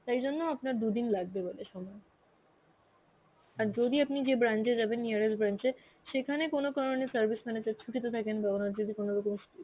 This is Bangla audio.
তাই জন্য আপনার দুদিন লাগবে গেলে সময়. আর যদি আপনি যে branch এ যাবেন nearest branch এ, সেখানে কোন কারণে service manager ছুটিতে থাকেন বা যদি কোনরকম